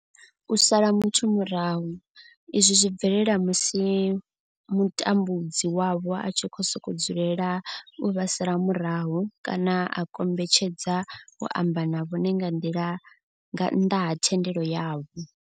U sala muthu murahu, izwi zwi bvelela musi mutambudzi wavho a tshi sokou dzulela u vha sala murahu kana a kombetshedza u amba na vhone nga nnḓa ha thendelo yavho.